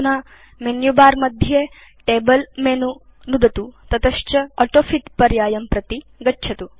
अधुना मेनुबर मध्ये table menu नुदतु ततश्च ऑटोफिट पर्यायं प्रति गच्छतु